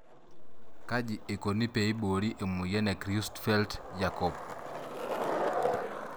Kji eikoni peiborii emoyian e Creutzfeldt jakob?